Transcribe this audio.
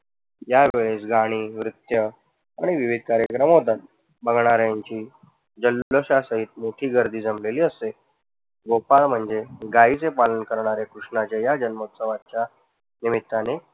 ज्या वेळेस गाणी, नृत्य आणि विविध कार्यक्रम होतात. बघणाऱ्यांची जाल्लोशासाहित मोठी गर्दी जमलेली असते. गोपाल म्हणजे गायीचे पालन करणारे कृष्णाच्या या जन्मोत्सवाच्या निमित्ताने